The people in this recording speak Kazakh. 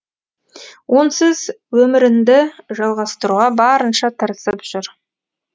онсыз өмірінді жалғастыруға барынша тырысып жүр